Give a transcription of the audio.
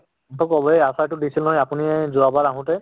ত কʼবই আচাৰ তো দিছিলে নহয় ৰাতিপুৱা যোৱা বাৰ আপুনি আহোতে